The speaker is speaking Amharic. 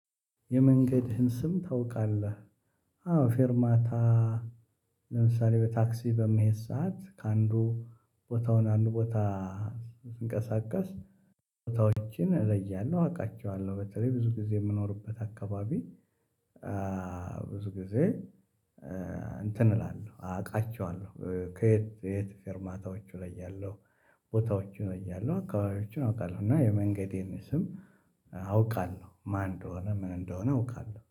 የመንገድህን ስም ታውቃለህ? አዎ ፌርማታ ለምሳሌ በታክሲ በመሄድ ሰዓት ከአንዱ ቦታውን ወደ አንዱ ቦታ ስንቀሳቀስ ቦታዎችን እለያለሁ አውቃቸዋለሁ በተለይ ብዙ ጊዜ የምኖርበት አካባቢ። ብዙ ጊዜ እንትን እላለሁ አውቃቸዋለሁ ከየት የት ፊርማታዎቹ ለያለሁ። ቦታዎቹ እያሉ አካባቢዎችን አውቃለሁ እና የመንገዴን ስም አውቃለሁ ማን እንደሆነ ምን እንደሆነ አውቃለሁ